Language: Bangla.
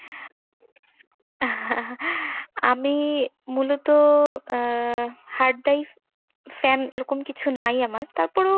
আমি মূলত আহ hard drive fan এরকম কিছু নাই আমার। তারপরও